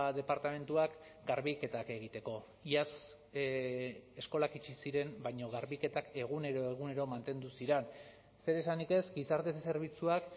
departamentuak garbiketak egiteko iaz eskolak itxi ziren baina garbiketak egunero egunero mantendu ziren zer esanik ez gizarte zerbitzuak